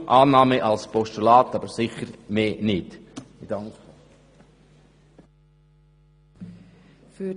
Darum: Annahme als Postulat, aber sicher nicht mehr.